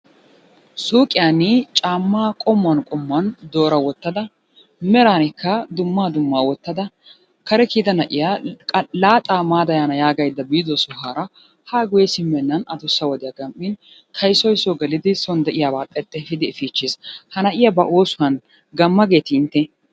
Suyqiyan caammaa qommuwan qommuwan doora wottada meraanikka dummaa dummaa wottada kare kiyida na'iya laaxaa maada yaana yaagaydda biido sohuwara haa guyye simmennan adussa wodiya gam'in kaydoyi Soo gelidi son de'iyabaa xexxeefidi efiichchis. Ha na'iya ba oosuwan gamma geetii intte?